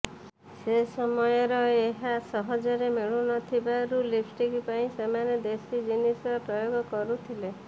ସେସମୟର ଏହା ସହଜରେ ମିଳୁନଥିବାରୁ ଲିପ୍ଷ୍ଟିକ୍ ପାଇଁ ସେମାନେ ଦେଶୀ ଜିନିଷର ପ୍ରୟୋଗ କରୁଥିଲେ